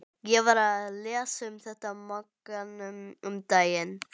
Ég var að lesa um þetta í Mogganum um daginn.